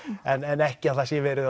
en ekki að það sé verið